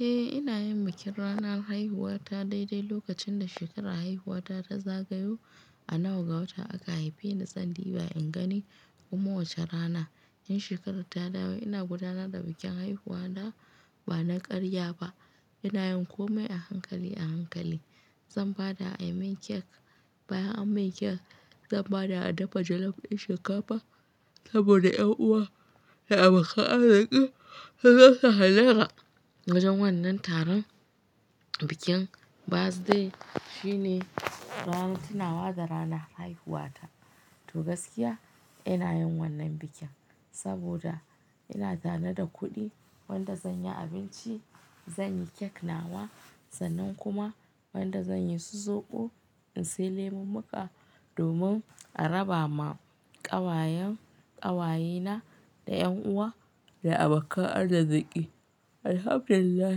Eh ina yin bikin ranar haihuwa ta dai dai lokacin da shekarar haihuwa ta ta zagayo. A nawa ga wata aka haife ni zan diba in gani kuma wace rana. In shekarar ta dawo ina gudanar da bikin haihuwa na ba na ƙarya ba. Ina yin komai a hankali a hankali. Zan bada a yi min cake. Bayan an min cake zan bada a dafa jollof ɗin shinkafa saboda 'yan uwa da abokan arziki su zasu hallara. Wajen wannan taron bikin birthday shine ranar tuna wa da rana haihuwa ta. To gaskiya ina yin wannan bikin saboda ina tare da kuɗi wanda zan yi abinci, zan yi cake nawa sannan kuma wanda zan yi su zoɓo in sai lemu muƙa domin a raba ma ƙawayen ƙawayena da 'yan uwa da abokan arziki. Alhamdulillah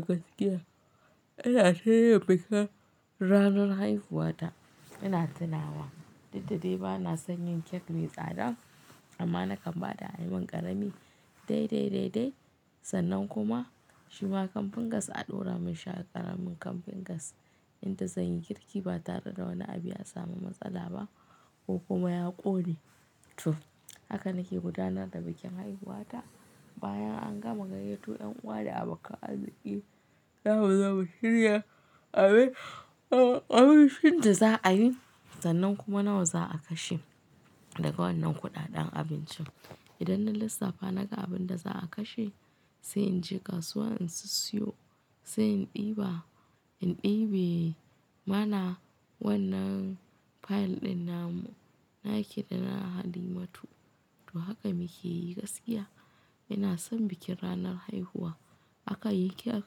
gaskiya ina ta iya bikin ranar haihuwa ta. Ina tunawa duk da de bana san yin cake mai tsada amma na kan bada ayi min ƙarami dai dai dai dai sannan kuma shima camping gas a ɗora min shi a ƙaramin camping gas inda zan yi girki ba tare da wani abu ya samu matsala ba ko kuma ya ƙone to haka nake gudanar da bikin haihuwa ta. Bayan an gama gayyato 'yan 'uwa da abokan arziki zamu zo mu shirya abincin da za'ayi sannan kuma nawa za'a kashe daga wannan kuɗaɗen abincin. Idan na lissafa naga abun da za'a kashe sai inje kasuwa in sissiyo sai in ɗiba in ɗibe. Mana wannan file ɗin namu na ki da na halimatu to haka muke yi gaskiya. Ina son bikin ranar haihuwa aka yi cake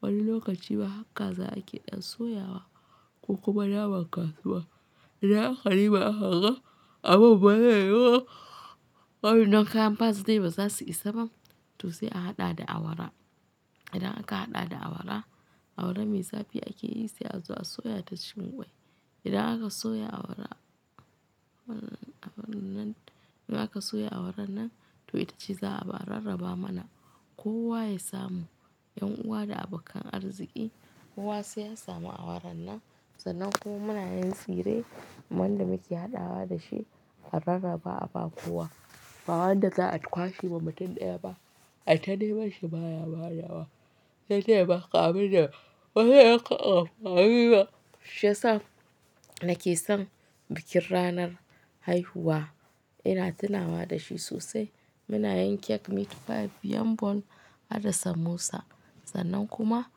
wani lokaci ma har kaza ma ake ɗan soyawa ko kuma naman kasuwa. Idan aka diba aka ga abun baya yiwuwa. Waɗannan kayan birthday ba za su isa ba to sai a haɗa da awara. Idan aka haɗa da awara awara mai zafi ake yi sai a zo a soya ta cikin ƙwai. Idan aka soya awara wannan in aka soya awaran nan to ita ce za a bi a rarraba mana ko wa ya samu 'yan uwa da abokan arziki kowa sai ya samu awaran nan sannan kuma muna yin tsire wanda muke haɗawa da shi a rarraba a ba kowa. Ba wanda za a kwashe ma mutum ɗaya ba. Ai ta neman shi baya badawa sai dai ya baka abin da washe ya ƙaga fahimi ba. Shiyasa nake son bikin ranar haihuwa. Ina tunawa da shi sosai. Muna yin cake meat pie yam ball hada samosa sannan kuma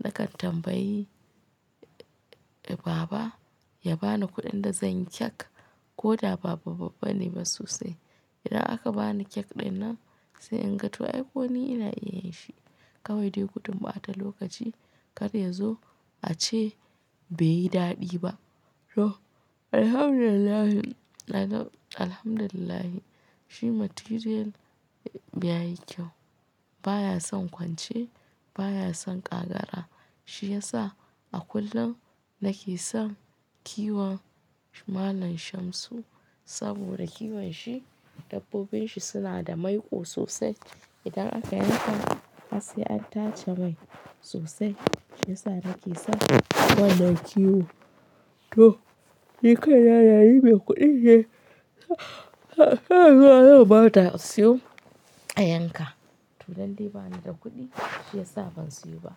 nakan tambayi baba ya bani kuɗin da zan yi cake ko da b babba bane ba sosai. Idan aka bani cake ɗinnan sai in ga toh ai ko ni ina iya yin shi kawai dai gudun ɓata lokaci. Kada ya zo a ce bai yi daɗi ba. To alhamdulillahi na ga alhamdulillahi shi material ya yi kyau baya son kwance baya son ƙa gara. Shi ya sa a kullum nake son kiwon malam Shamsu saboda kiwon shi dabbobin shi suna da maiƙo sosai. Idan aka yanka har sai an tace mai sosai shiyasa nake son wannan kiwo. To ni kai na da ni mai kuɗin ne. Shanuwa zan ba da a siyo a yanka. To dan dai bani da kuɗi shiyasa ban siyo ba.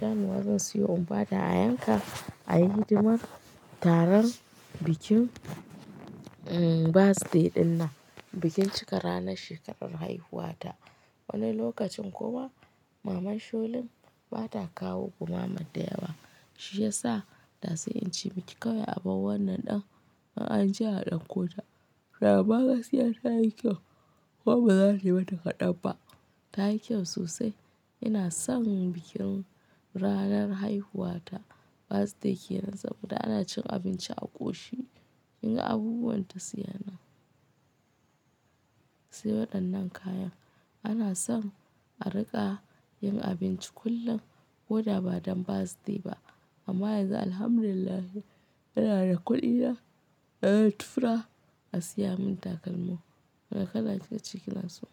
Shanuwa zan siyo in ba da a yanka a yi hidima taron bikin birthday ɗinnan bikin cika ranar shekarar haihuwa ta. Wani lokacin kuma maman Sholin ba ta kawo gumama da yawa shi ya sa da sai in ce miki kawai abar wannan ɗin in an je a ɗauko ta. Amma gaskiya ta yi kyau kuma ba za ta mata kaɗan ba. Ta yi kyau sosai. Ina son bikin ranar haihuwa ta birthday ke nan saboda ana cin abinci a ƙoshi. Inga abubuwan ta siyana sai waɗannan kayan. Ana son a riƙa yin abinci kullum ko da ba don birthday ba amma yanzu alhamdulillahi ina da kuɗi na da zan tura a siya mun takalmi. Wane kala kika ce kina so.